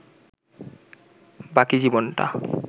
বাকি জীবনটা